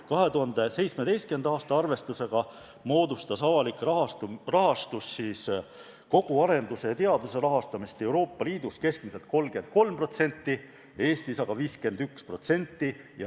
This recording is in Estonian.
2017. aasta arvestuse järgi moodustas avaliku sektori rahastus kogu arendustöö ja teaduse rahastamisest Euroopa Liidus keskmiselt 33%, Eestis aga 51%.